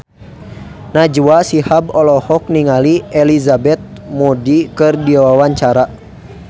Najwa Shihab olohok ningali Elizabeth Moody keur diwawancara